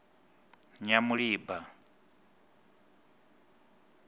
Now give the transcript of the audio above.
nyamulimba